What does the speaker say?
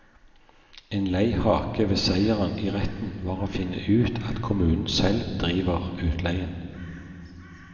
En lei hake ved seieren i retten var å finne ut at kommunen selv driver utleien.